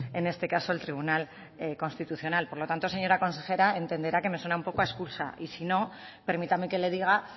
en este caso el tribunal constitucional por lo tanto señora consejera entenderá que me suena un poco a excusa y si no permítame que le diga